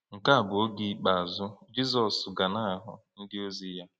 Nke a bụ oge ikpeazụ Jizọs ga na-ahụ ndịozi ya.